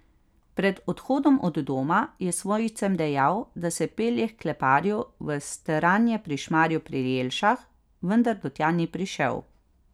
Pred odhodom od doma je svojcem dejal, da se pelje h kleparju v Stranje pri Šmarju pri Jelšah, vendar do tja ni prišel.